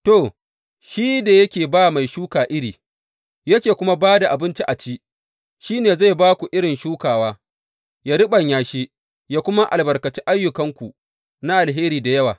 To, shi da yake ba mai shuka iri, yake kuma ba da abinci a ci, shi ne zai ba ku irin shukawa, yă riɓanya shi, yă kuma albarkaci ayyukanku na alheri da yawa.